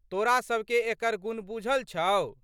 तोरा सबके एकर गुण बूझल छौ?